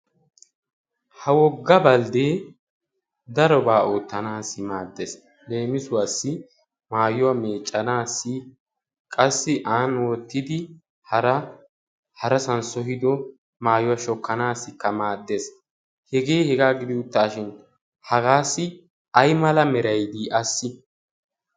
ha wogga bldde darobba oottanassi maaddees. qassi an wottidi harassab sohiddo maayuwa shokkanassikka maaddees. hega hega gidishin aymala meray dii assi?